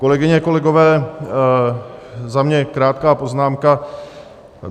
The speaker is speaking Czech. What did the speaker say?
Kolegyně, kolegové, za mě krátká poznámka.